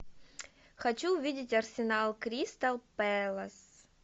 хочу увидеть арсенал кристал пэлас